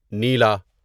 نیلا